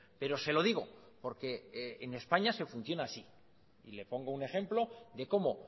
pero se lo digo porque en españa se funciona así y le pongo un ejemplo de cómo